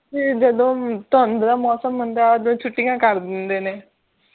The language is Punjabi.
ਫੇਰ ਜਦੋਂ ਠੰਢ ਦਾ ਮੌਸਮ ਹੁੰਦਾ ਹੈ ਉਦੋਂ ਛੁੱਟੀਆਂ ਕਰ ਦਿੰਦੇ ਨੇ